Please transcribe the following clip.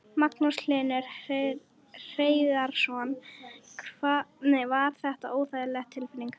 Magnús Hlynur Hreiðarsson: Var þetta óþægileg tilfinning?